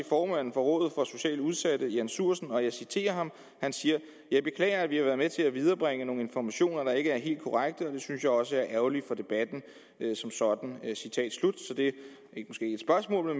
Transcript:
formanden for rådet for socialt udsatte jan sjursen og jeg citerer jeg beklager at vi har været med til at viderebringe nogle informationer der ikke er helt korrekte og det synes jeg også er ærgerligt for debatten som sådan så det